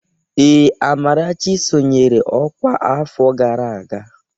Ee, Amarachi sonyeere ọkwá afọ gara aga.